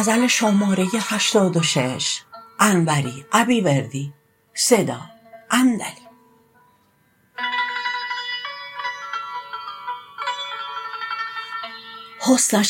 حسنش